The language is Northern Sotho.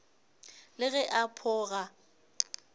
le ge a pho ga